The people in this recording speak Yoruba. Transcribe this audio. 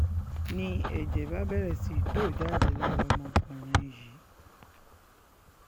n ní ẹ̀jẹ̀ bá bẹ̀rẹ̀ sí í tó jáde lára ọmọkùnrin yìí